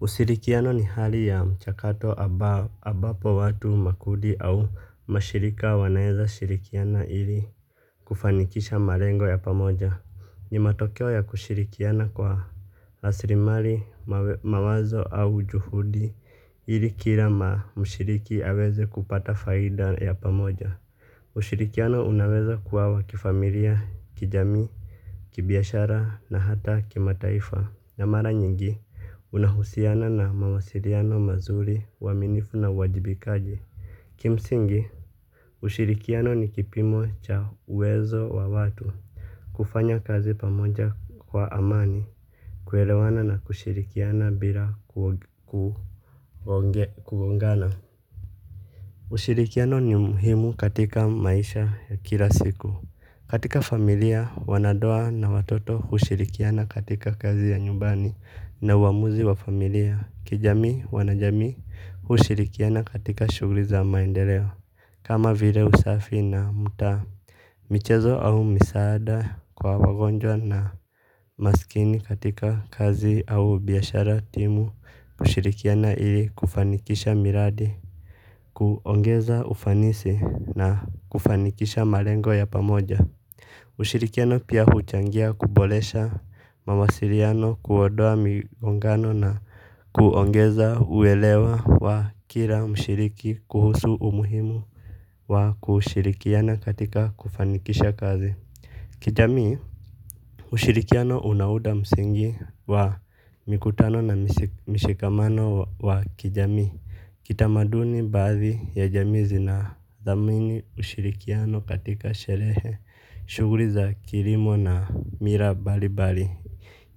Usirikiano ni hali ya mchakato ambapo watu makundi au mashirika wanaweza shirikiana ili kufanikisha marengo ya pamoja. Ni matokeo ya kushirikiana kwa rasrimari, mawazo au juhudi ili kila ma mshiriki aweze kupata faida ya pamoja. Ushirikiano unaweza kuwa wa kifamilia, kijamii, kibiashara na hata kimataifa. Na mara nyingi, unahusiana na mawasiriano mazuri uaminifu na uwajibikaji. Kimsingi, ushirikiano ni kipimo cha uwezo wa watu kufanya kazi pamoja kwa amani kuelewana na kushirikiana bila kugongana ushirikiano ni muhimu katika maisha ya kila siku katika familia wanandoa na watoto hushirikiana katika kazi za nyumbani na uamuzi wa familia. Kijamii, wanajami, hushirikiana katika shugri za maendeleo. Kama vile usafi na muda, michezo au misaada kwa wagonjwa na masikini katika kazi au biashara timu, ushirikiana ili kufanikisha miradi, kuongeza ufanisi na kufanikisha malengo ya pamoja. Ushirikiano pia huchangia kuboresha mawasiliano kuodoa migongano na kuongeza uelewa wa kila mshiriki kuhusu umuhimu wa kushirikiana katika kufanikisha kazi. Kijamii, ushirikiano unauda msingi wa mikutano na mshikamano wa kijamii. Kitamaduni baadhi ya jamii zina thamini ushirikiano katika sherehe. Shughuli za kilimo na mira mbali mbali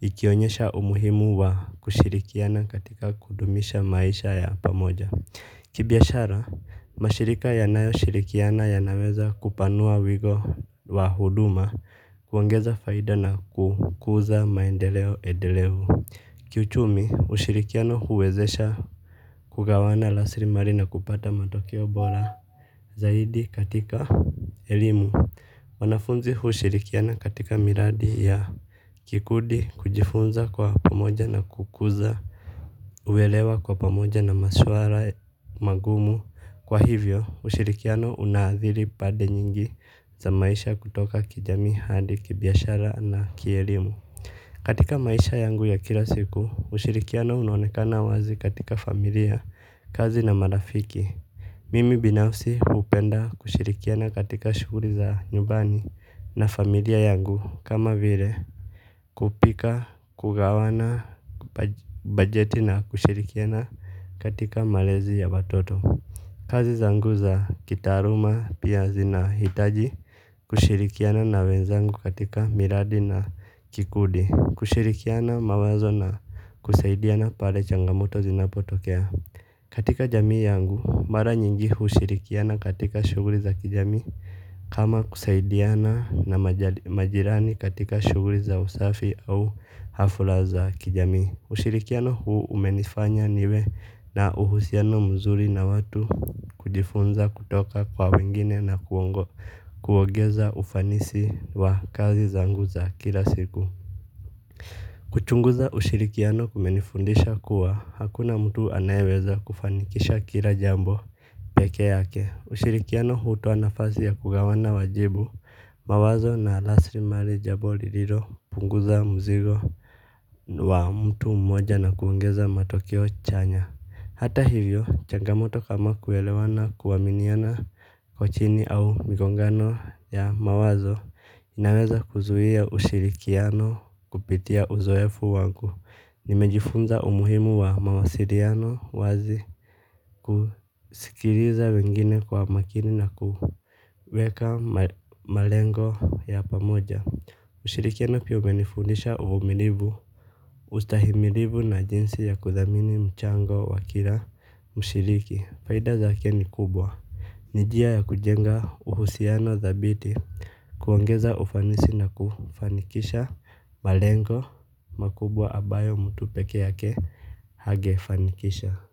ikionyesha umuhimu wa kushirikiana katika kudumisha maisha ya pamoja. Kibiashara, mashirika yanayo shirikiana yanaweza kupanua wigo wa huduma kuongeza faida na kukuza maendeleo edelevu. Kiuchumi ushirikiano huwezesha kugawana rasirimali na kupata matokeo bora. Zaidi katika elimu wanafunzi hushirikiana katika miradi ya kikudi kujifunza kwa pamoja na kukuza uelewa kwa pamoja na maswala magumu. Kwa hivyo ushirikiano unaadhiri pande nyingi za maisha kutoka kijamii hadi kibiashara na kielimu. Katika maisha yangu ya kila siku ushirikiano unaonekana wazi katika familia kazi na marafiki. Mimi binafsi hupenda kushirikiana katika shughuli za nyubani na familia yangu kama vile kupika kugawana bajeti na kushirikiana katika malezi ya watoto. Kazi zangu za kitaaluma pia zinahitaji kushirikiana na wenzangu katika miradi na kikundi. Kushirikiana mawazo na kusaidiana pale changamoto zinapotokea. Katika jamii yangu, mara nyingi hushirikiana katika shughuli za kijamii kama kusaidiana na majirani katika shughuli za usafi au hafula za kijamii. Ushirikiano huu umenifanya niwe na uhusiano mzuri na watu kujifunza kutoka kwa wengine na kuongo kuogeza ufanisi wa kazi zangu za kila siku. Kuchunguza ushirikiano kumenifundisha kuwa hakuna mtu anayeweza kufanikisha kila jambo peke yake ushirikiano hutoa nafasi ya kugawana majibu mawazo na rasirimali jambo lililo punguza mzigo wa mtu mmoja na kuongeza matokeo chanya. Hata hivyo, changamoto kama kuelewana kuaminiana kwa chini au migongano ya mawazo inaweza kuzuia ushirikiano kupitia uzoefu wangu nimejifunza umuhimu wa mawasiliano wazi kusikiliza wengine kwa makini na kuweka malengo ya pamoja ushirikiano pia umenifundisha uvumilivu, ustahimilivu na jinsi ya kuthamini mchango wa kila mshiriki. Faida zake ni kubwa. Ni njia ya kujenga uhusiano thabiti kuongeza ufanisi na kufanikisha malengo makubwa ambayo mtu peke yake hangefanikisha.